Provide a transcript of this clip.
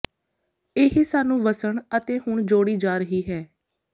ਇਹ ਸਾਨੂੰ ਵਸਣ ਅਤੇ ਹੁਣ ਜੋੜੀ ਜਾ ਰਹੀ ਹੈ